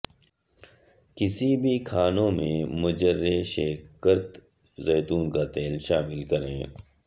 کسی بھی کھانے میں مجریشکرت زیتون کا تیل شامل کریں